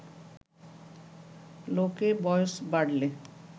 লোকে বয়স বাড়লে